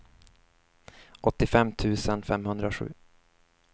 åttiofem tusen femhundrasju